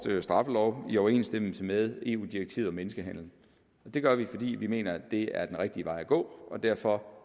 straffelov i overensstemmelse med eu direktivet om menneskehandel det gør vi fordi vi mener at det er den rigtige vej at gå og derfor